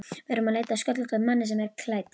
Við erum að leita að sköllóttum manni sem er klædd